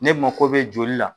Ne mako be joli la.